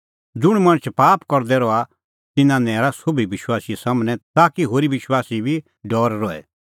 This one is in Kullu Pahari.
ज़ुंणी मणछ पाप करदै रहा तिन्नां नैरा सोभी विश्वासी सम्हनै ताकि होरी विश्वासी बी डौर रहे